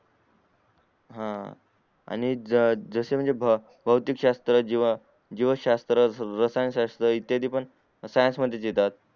हम्म आणि जसे म्हणजे भौतिक शास्त्र जीव शास्त्र रसायन शास्त्र इत्यादी पण science मध्ये च येतात